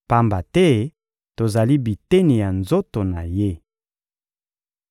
pamba te tozali biteni ya nzoto na Ye.